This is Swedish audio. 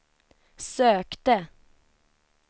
sökte